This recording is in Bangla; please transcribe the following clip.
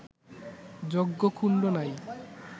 যজ্ঞকুণ্ড নাই